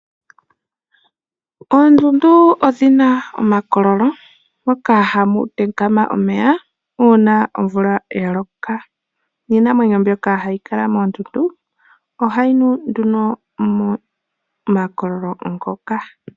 Oondundu odhi na omakololo moka hamu tenkama omeya uuna omvula ya loka, niinamwneyo mbyoka hayi kala moondundu ohayi nu nduno momakololo ngoka.